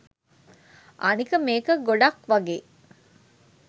අනික මේක ගොඩක්වගේ